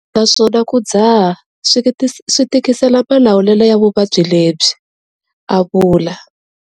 Naswona ku dzaha swi tikisela malawulelo ya vuvabyi lebyi, a vula.